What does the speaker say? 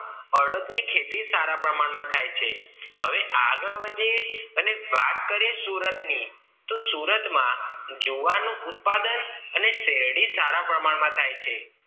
અડદ ની ખેતી સારા પ્રમાણમાં થાય છે હવે આગળ વધી અને વાત કરીએ સુરતની તો સુરતમાં જુવાર નું ઉત્પાદન અને શેરડી સારા પ્રમાણમાં થાય છે